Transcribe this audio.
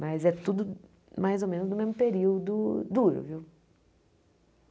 Mas é tudo mais ou menos no mesmo período duro